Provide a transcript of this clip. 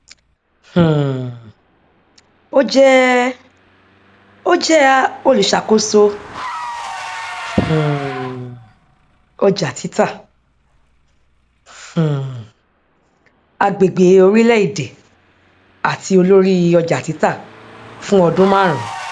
um ó jẹ ó jẹ olùṣàkóso um ọjàtítà um agbègbè orílẹèdè àti olórí ọjàtítà fún ọdún márùn